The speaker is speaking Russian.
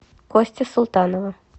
кости султанова